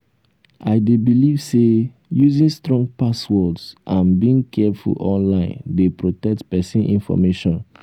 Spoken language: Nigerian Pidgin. i dey believe say using strong passwords and being careful online dey protect pesin information.